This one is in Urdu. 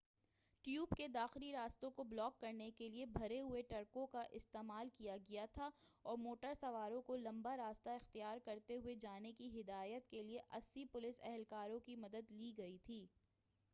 ٹیوب کے داخلی راستوں کو بلاک کرنے کیلئے بھرے ہوئے ٹرکوں کا استعمال کیا گیا تھا اور موٹر سواروں کو لمبا راستہ اختیار کرتے ہوئے جانے کی ہدایت دینے کیلئے 80 پولیس اہلکاروں کی مدد لی گئی تھی